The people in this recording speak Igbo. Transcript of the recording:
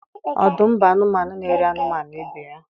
Ọdụm bụ anụmanụ n'eri anụmanụ ibe ya.